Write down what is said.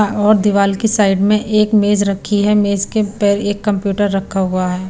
और दिवाल की साइड में एक मेज रखी है मेज के पैर एक कंप्यूटर रखा हुआ है।